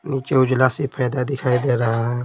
नीचे उजला से फैदा दिखाई दे रहा है।